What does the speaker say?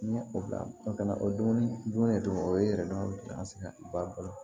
N ye o bila o kɛ o dumuni dunnen don o ye yɛrɛ dilan fɔlɔ